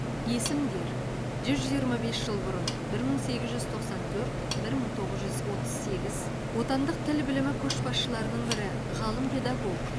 есімдер жүз жиырма бес жыл бұрын бір мың сегіз жүз тоқсан төрт бір мың тоғыз жүз отыз сегіз отандық тіл білімі көшбасшыларының бірі ғалым педагог